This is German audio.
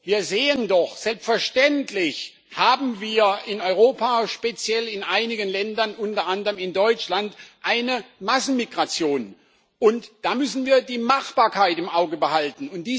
Wir sehen doch Selbstverständlich haben wir in Europa speziell in einigen Ländern, unter anderem in Deutschland eine Massenmigration, und da müssen wir die Machbarkeit im Auge behalten.